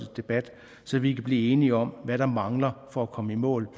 debat så vi kan blive enige om hvad der mangler for at komme i mål